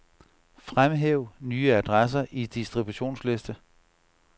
Fremhæv nye adresser i distributionsliste.